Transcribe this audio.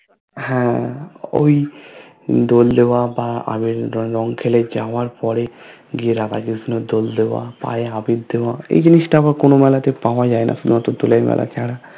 হ্যা ওই দোল দেওয়া বা আবির রং খেলে যাবার পরে গিয়ে রাধা কৃষ্ণর দোল দেয়া পায়ে আবির দেয়া এই জিনিসটা আবার কোনো মেলাতে পাওয়া যায় না একমাত্র দোলের মেলা ছাড়া